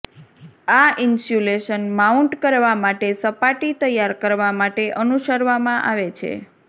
આ insulation mount કરવા માટે સપાટી તૈયાર કરવા માટે અનુસરવામાં આવે છે